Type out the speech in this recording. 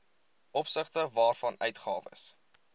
opsigte waarvan uitgawes